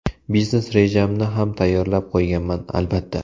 Biznes rejamni ham tayyorlab qo‘yganman, albatta.